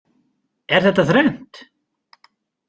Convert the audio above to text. Er þetta þrennt?